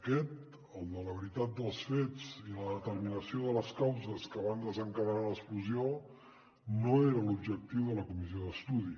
aquest el de la veritat dels fets i la determinació de les causes que van desencadenar l’explosió no era l’objectiu de la comissió d’estudi